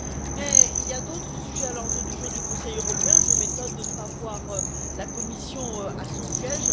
Mais il y a d'autres sujets à l'ordre du jour du Conseil européen et je m'étonne de ne pas voir la Commission à son siège.